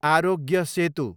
Aarogya Setu